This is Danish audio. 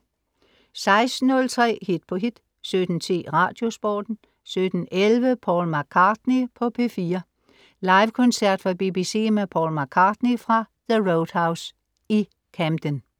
16.03 Hit på hit 17.10 Radiosporten 17.11 Paul McCartney på P4. Livekoncert fra BBC med Paul McCartney fra The Roadhouse i Camden